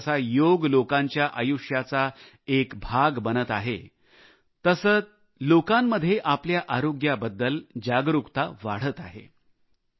जसाजसा योग लोकांच्या आयुष्याचा एक भाग बनत आहे तसे लोकांमध्ये आपल्या आरोग्याबद्दल जागरूकता वाढत आहे